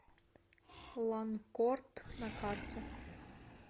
ланкорд на карте